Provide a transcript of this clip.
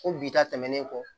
Ko bi ta tɛmɛnen kɔ